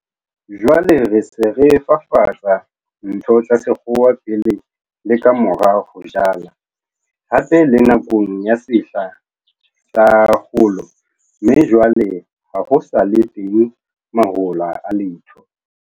Jwale re se re fafatsa ntho tsa sekgowa pele le ka mora ho jala, hape le nakong ya sehla sa kgolo - mme jwale ha ho sa le teng mahola a letho.